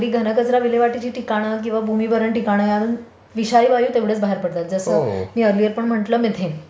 So नागरी घन कचरा विल्हेवाटची ठिकाणं किंवा भूमी भरण ठिकाणं विधारी वायु तेवढेच बाहेर पडतात जसे मी म्हंटलं मिथेन.